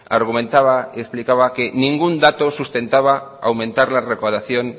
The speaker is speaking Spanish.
argumentaba y explicaba que ningún dato sustentaba aumentar la recaudación